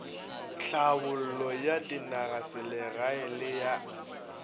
thlabollo ya dinagaselegae le a